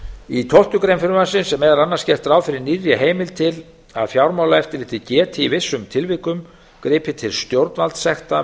í tólftu greinar frumvarpsins er meðal annars gert ráð fyrir nýrri heimild til að fjármálaeftirlitið geti í vissum tilvikum gripið til stjórnvaldssekta